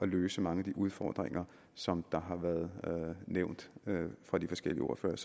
løse mange af de udfordringer som har været nævnt fra de forskellige ordføreres